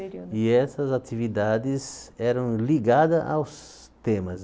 E essas atividades eram ligadas aos temas.